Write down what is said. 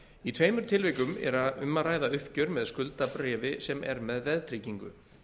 í tveimur tilvikum er um að ræða uppgjör með skuldabréfi sem er með veðtryggingu